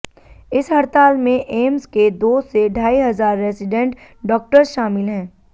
इस हड़ताल में एम्स के दो से ढाई हजार रेजिडेंट डॉक्टर्स शामिल हैं